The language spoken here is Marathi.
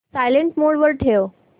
सायलेंट मोड वर ठेव